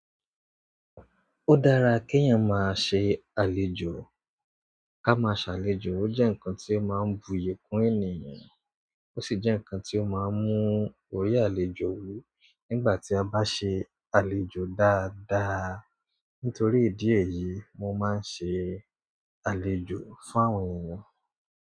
Ó dára kí ènìyàn máa ṣe àlejò, ka máa ṣàlejò. Ó jẹ́ ǹnkan tí ó máa ń buyì kún ènìyàn, ó sì jẹ́ ǹkan tí ó máa ń mú orí àlejò wú nígbà tí a bá ṣe àlejò dáadáa. Nítorí ìdí èyí, mo máa ń ṣe àlejò fún àwọn ènìyàn.